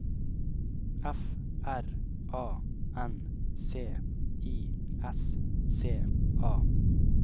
F R A N C I S C A